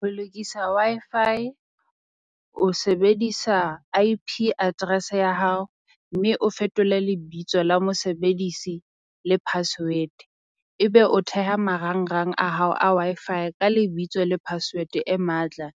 Ho lokisa Wi-Fi o sebedisa I_P address ya hao, mme o fetole lebitso la mosebedisi le password. Ebe o theha marangrang a hao a Wi-Fi ka lebitso le password e matla,